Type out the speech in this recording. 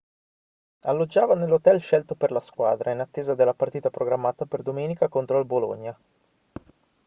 alloggiava nell'hotel scelto per la squadra in attesa della partita programmata per domenica contro il bologna